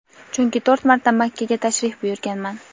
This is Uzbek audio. chunki to‘rt marta Makkaga tashrif buyurganman.